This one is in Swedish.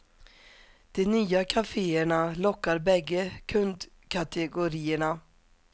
De nya kafeerna lockar bägge kundkategorierna.